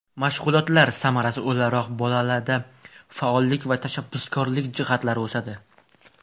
Mashg‘ulotlar samarasi o‘laroq bolada faollik va tashabbuskorlik jihatlari o‘sadi.